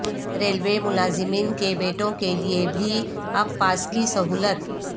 railway ملازمین کے بیٹوں کیلئے بھی اب پاس کی سہولت